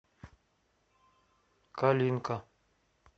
калинка